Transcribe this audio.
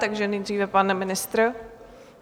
Takže nejdříve pan ministr.